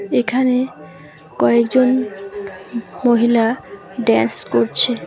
এখানে কয়েকজন মহিলা ডেস করছে।